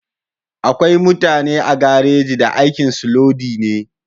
Akwai mutane a garaji da aikin su lodi ne